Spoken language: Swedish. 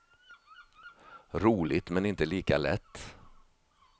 Roligt, men inte lika lätt.